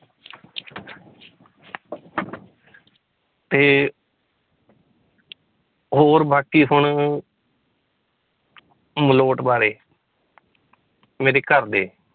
ਤੇ ਹੋਰ ਬਾਕੀ ਹੁਣ ਮਲੋਟ ਬਾਰੇ ਮੇਰੇ ਘਰਦੇ